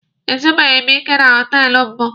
E zubeghi m ike na họtelụ mbụ.